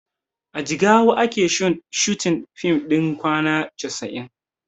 A jigawa ake shooting fim ɗin kwana casa'in